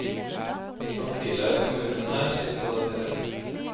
Samtidig har kommunen her sitt på det tørre.